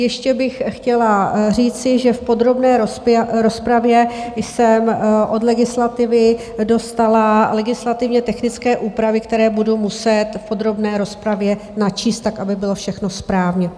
Ještě bych chtěla říci, že v podrobné rozpravě jsem od legislativy dostala legislativně technické úpravy, které budu muset v podrobné rozpravě načíst tak, aby bylo všechno správně.